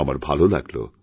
আমার ভালোলাগল